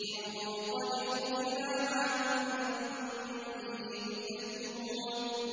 انطَلِقُوا إِلَىٰ مَا كُنتُم بِهِ تُكَذِّبُونَ